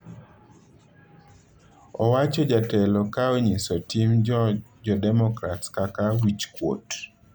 "owacho jatelo ka onyiso tim jo jo Democrats kaka ""wich kuot"".